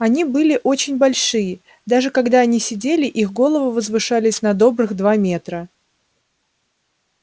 они были очень большие даже когда они сидели их головы возвышались на добрых два метра